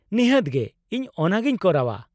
ᱱᱤᱦᱟᱹᱛ ᱜᱮ, ᱤᱧ ᱚᱱᱟᱜᱮᱧ ᱠᱚᱨᱟᱣᱟ ᱾